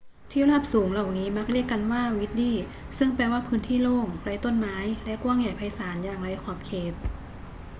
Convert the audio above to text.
ที่ราบสูงเหล่านี้มักเรียกกันว่า vidde ซึ่งแปลว่าพื้นที่โล่ง ไร้ต้นไม้ และกว้างใหญ่ไพศาลอย่างไร้ขอบเขต